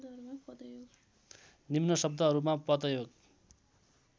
निम्न शब्दहरूमा पदयोग